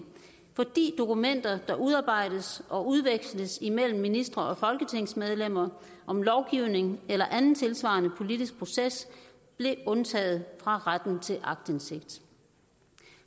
fordi dokumenter der udarbejdes og udveksles imellem ministre og folketingsmedlemmer om lovgivning eller anden tilsvarende politisk proces blev undtaget fra retten til aktindsigt